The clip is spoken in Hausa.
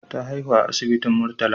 Ta haihu a asibitin Murtala.